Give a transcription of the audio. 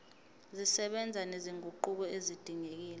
zisebenza nezinguquko ezidingekile